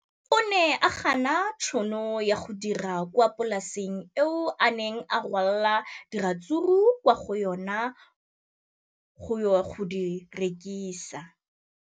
O ne a gana tšhono ya go dira kwa polaseng eo a neng rwala diratsuru kwa go yona go di rekisa.